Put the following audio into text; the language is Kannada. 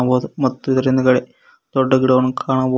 ಬಹುದು ಮತ್ತು ಇದರ ಹಿಂದುಗಡೆ ದೊಡ್ಡ ಗಿಡವನ್ನು ಕಾಣಬಹುದು.